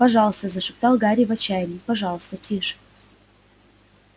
пожалуйста зашептал гарри в отчаянии пожалуйста тише